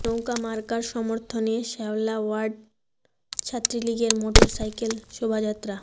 নৌকা মার্কার সমর্থনে শেওলা ওয়ার্ড ছাত্রলীগের মোটর সাইকেল শোভাযাত্রা